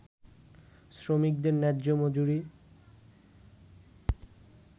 শ্রমিকদের ন্যায্য মজুরি